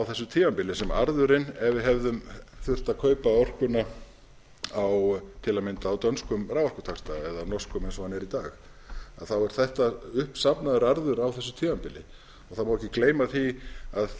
þessu tímabili sem arðurinn ef við hefðum þurft að kaupa orkuna til að mynda á dönskum raforkutaxta eða norskum eins og hann er í dag að þá er þetta uppsafnaður arður á þessu tímabili það má ekki gleyma því að